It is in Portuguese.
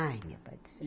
Ai, meu Pai do Céu.